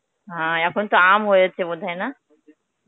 হ্যাঁ, এখন তো আম হয়েছে বোধহয় না?